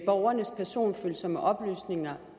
borgernes personfølsomme oplysninger